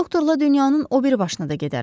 Doktorla dünyanın o biri başına da gedərəm.